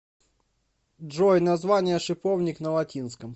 джой название шиповник на латинском